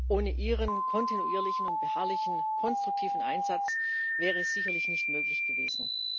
Ohne Ihren kontinuierlichen und beharrlichen konstruktiven Einsatz wäre das sicherlich nicht möglich gewesen.